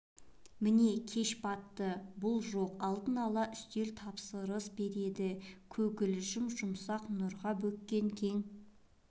міне кеш батты бұл жоқ алдын ала үстел тапсырыс береді көгілжім жұмсақ нұрға бөккен кең